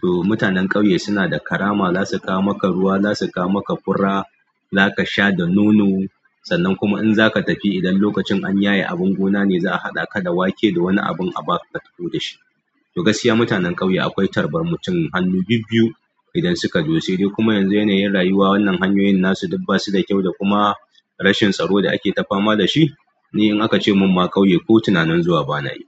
To mutanen ƙauye suna da karama. Za su kawo maka ruwa, za su kawo maka fura, za ka sha da nono. Sannan kuma in za ka tafi idan lokacin an yaye abin gona ne, za a haɗa ka da wake da wani abin a baka ka tafi da shi. To, gaskiya mutanen ƙauye akwai tarban mutum hannu bibbiyu idan suka zo. Sai dai kuma yanzu yanayin rayuwa, wannan hanyoyin nasu duk ba su da kyau da kuma rashin tsaro da ake ta fama da shi. Ni in aka ce min ƙauye ko tunanin zuwa ma bana yi.